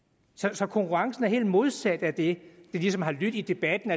så konkurrencen er helt modsat af det der ligesom har lydt i debatten